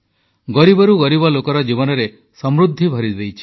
ଗରିବରୁ ଗରିବ ଲୋକର ଜୀବନରେ ସମୃଦ୍ଧି ଭରିଦେଇଛି